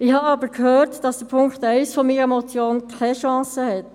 Ich habe aber gehört, dass der Punkt 1 meiner Motion keine Chance hat.